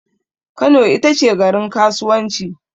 Kano itace garin kasuwanci